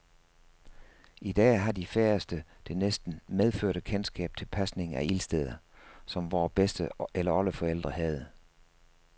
I dag har de færreste det næsten medfødte kendskab til pasning af ildsteder, som vore bedste eller oldeforældre havde.